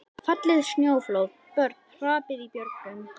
Fallið snjóflóð, börn hrapað í björgum.